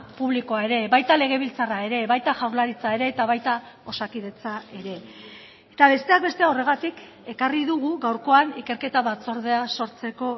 publikoa ere baita legebiltzarra ere baita jaurlaritza ere eta baita osakidetza ere eta besteak beste horregatik ekarri dugu gaurkoan ikerketa batzordea sortzeko